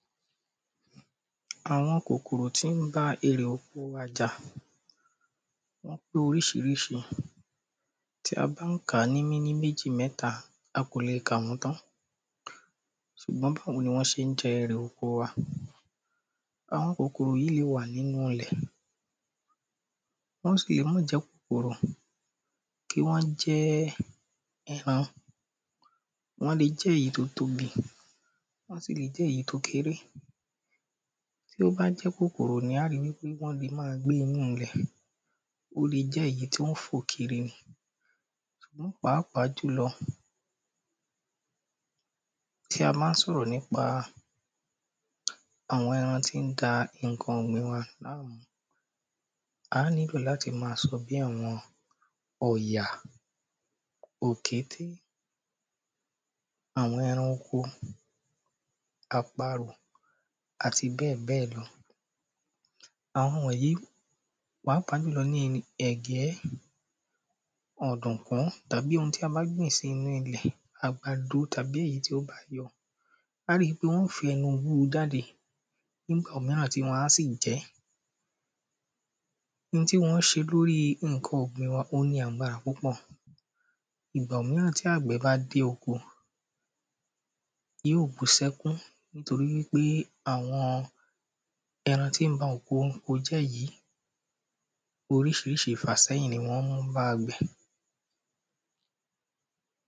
awon kokoro ti n ba ere oko wa ja Wọ́n pé orísirísi Tí a bá ń kà á ní méní méjì mẹ́ta a kò lè kà wọ́n tán Sùgbọ́n báwo ni wọ́n ṣe ń jẹ èrè oko wa Àwọn kòkòrò yìí lè wà nínú ilẹ̀ Wọ́n sì lè má jẹ́ kòkòrò kí wọ́n jẹ́ Wọ́n lè jẹ́ èyí tí ó tóbi Wọ́n tún lè jẹ́ èyí tí ó kéré Tí ó bá jẹ́ kòkòrò ni à á ri wípé wọ́n lè máa gbé inú ilẹ̀ Ó lè jẹ́ èyí tí ó ń fò kiri ni Pàápàá jùlọ tí a bá ń sọ̀rọ̀ nípa àwọn ẹran tí ń da nǹkan ọ̀gbìn wa A á nílò láti máa sọ bí àwọn ọ̀yà òkété àwọn eran oko àparo àti bẹ́ẹ̀bẹ́ẹ̀ lọ Àwọn yìí pàápàá jùlọ àwọn ẹ̀gẹ́ ọ̀dùnkún tàbí oun tí a bá gbìn sí inú ilé àgbàdo tàbí èyí tí ó bá yọ A ri pé wọ́n óò fi ẹnu wó o jáde nígbà míràn tí wọ́n á sì jẹ ẹ́ Oun tí wọ́n ń ṣe lórí nǹkan ọ̀gbìn wa ó ní agbára púpọ̀ Ìgbà òmíràn tí àgbẹ̀ bá dé oko Yóò bú sí ẹkún nítorípe ́àwọn ẹran tí ń ba oko jẹ́ yìí orísirísi ìfàsẹ́yìn ni wọ́n ń mú bá àgbẹ̀